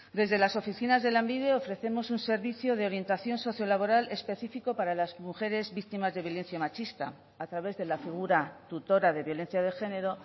desde las oficinas de lanbide ofrecemos un servicio de orientación socio laboral específico para las mujeres víctimas de violencia machista a través de la figura tutora de violencia de género